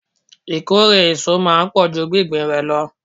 Ìkórè èso máa ń pò ju gbingbin rẹ lọ.